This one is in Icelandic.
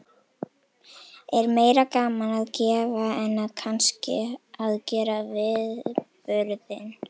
Er meira gaman að gefa en að kannski að gera viðburðinn?